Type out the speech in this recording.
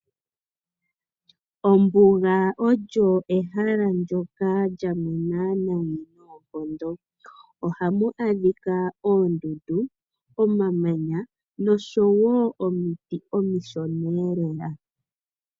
Ombuga olyo ehala ndyoka lyamwena noonkondo, ohamu adhika oondundu, omamanya nosho wo omiti omishona lela.